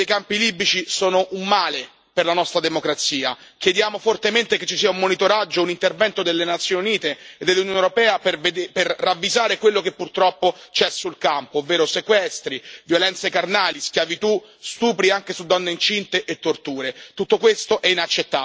Le vergognose condizioni dei campi libici sono un male per la nostra democrazia crediamo fortemente che ci sia un monitoraggio, un intervento delle Nazioni Unite e dell'Unione europea per ravvisare quello che purtroppo c'è sul campo, ovvero sequestri, violenze carnali, schiavitù, stupri, anche su donne incinte, e torture.